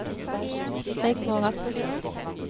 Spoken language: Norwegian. Rigmor Rasmussen